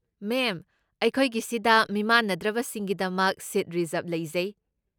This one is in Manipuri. ꯃꯦꯝ, ꯑꯩꯈꯣꯏꯒꯤꯁꯤꯗ ꯃꯤꯃꯥꯟꯅꯗ꯭ꯔꯕꯁꯤꯡꯒꯤꯗꯃꯛ ꯁꯤꯠ ꯔꯤꯖ꯭ꯔꯕ ꯂꯩꯖꯩ꯫